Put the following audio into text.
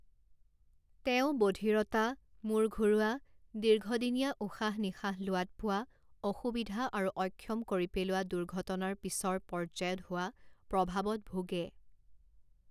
তেওঁ বধিৰতা, মূৰ ঘূৰোৱা, দীৰ্ঘদিনীয়া উশাহ নিশাহ লোৱাত পোৱা অসুবিধা আৰু অক্ষম কৰি পেলোৱা দুৰ্ঘটনাৰ পিছৰ পৰ্যায়ত হোৱা প্ৰভাৱত ভুগে।